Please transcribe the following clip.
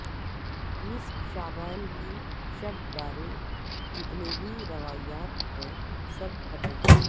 نصف شعبان کی شب بارے جتنے بھی روایات ہے سب قطعی